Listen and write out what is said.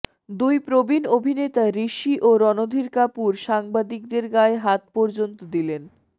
দুই প্রবীণ অভিনেতা ঋষি ও রণধীর কপূর সাংবাদিকদের গায়ে হাত পর্যন্ত দিলেন